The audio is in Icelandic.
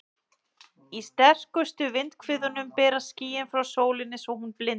Í sterkustu vindhviðunum berast skýin frá sólinni svo hún blindar.